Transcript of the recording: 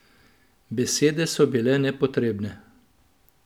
Besede so bile nepotrebne.